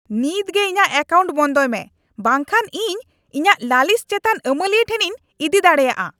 ᱱᱤᱛ ᱜᱮ ᱤᱧᱟᱹᱜ ᱮᱠᱟᱣᱱᱴ ᱵᱚᱱᱫᱚᱭ ᱢᱮ, ᱵᱟᱝ ᱠᱷᱟᱱ ᱤᱧ ᱤᱧᱟᱹᱜ ᱞᱟᱹᱞᱤᱥ ᱪᱮᱛᱟᱱ ᱟᱹᱢᱟᱹᱞᱤᱭᱟᱹ ᱴᱷᱮᱱᱤᱧ ᱤᱫᱤ ᱫᱟᱲᱮᱭᱟᱜᱼᱟ ᱾